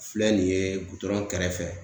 Filɛ nin ye gutɔrɔn kɛrɛfɛ.